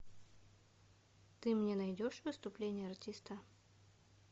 ты мне найдешь выступление артиста